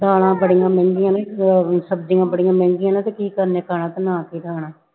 ਦਾਲਾਂ ਬੜੀਆਂ ਮਹਿੰਗੀਆਂ ਨੇ ਉਹ ਸਬਜ਼ੀਆਂ ਬੜੀਆਂ ਮਹਿੰਗੀਆਂ ਨੇ ਤੇ ਕੀ ਕਰਨਾ ਖਾਣਾ ਬਣਾ ਕੇ ਖਾਣਾ